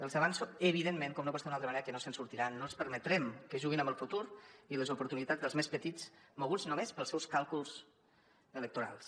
els avanço evidentment com no pot ser d’una altra manera que no se’n sortiran no els permetrem que juguin amb el futur i les oportunitats dels més petits moguts només pels seus càlculs electorals